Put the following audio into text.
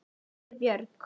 spurði Björg.